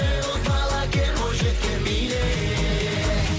ей боз бала кел бойжеткен биле